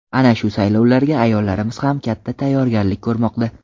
Ana shu saylovlarga ayollarimiz ham katta tayyorgarlik ko‘rmoqda.